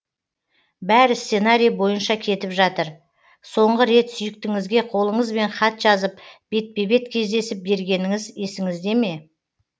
бәрі сценарий бойынша кетіп жатыр соңғы рет сүйіктіңізге қолыңызбен хат жазып бетпе бет кездесіп бергеніңіз есіңізде ме